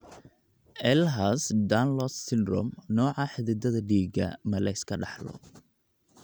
Ehlers Danlos syndrome, nooca xididdada dhiigga ma la iska dhaxlo?